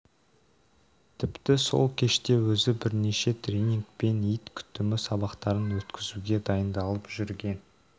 тіпті сол кеште өзі бірнеше тренинг пен ит күтімі сабақтарын өткізуге дайындалып жүрген